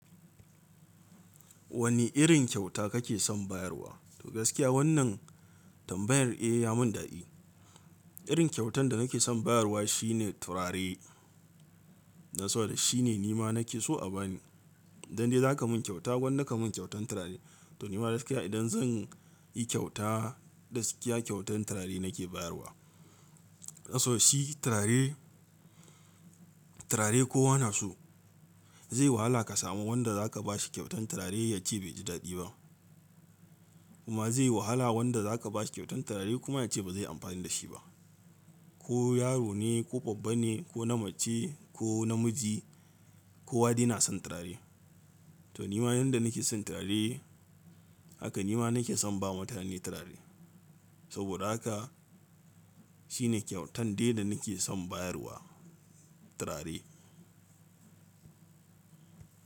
Wane irin kyauta kake son bayarwa? To gaskiya wannan tambayar eh ya mun dadi. Irin kyautan da nake son bayarwa shine turare. Don saboda shine nima nake so a bani. Don indai za ka mun kyauta gwanda ka mun kyautan turare. To nima gaskiya idan zan yi kyauta gaskiya kyautan turare nake bayarwa. Saboda shi turare, turare kowa naso. Zai wahala ka samu wanda za ka ba shi kyautan turare ya ce bai ji dadi ba. Kuma zai yi wahala wanda za ka ba shi kyautan turare kuma ya ce ba zai yi amfani da shi ba. Ko yaro ne, ko babba ne, ko na mace, ko namiji, ko wadai yana son turare. To nima yanda nake son turare haka nima nake son bawa mutane turare. Saboda haka shine kyautan dai da nake son bayarwa turare.